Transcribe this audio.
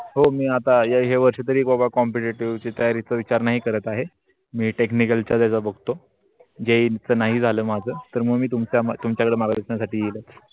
हो मी आता या वर्षी बाबा competitive ची तयारी तो विचार नाही करत आहे. मी technical च्या जागा बघतो. जैन चा नाही झालं माझं तर मी तुमच्या कड माग्त्न्या साठी न्येईल.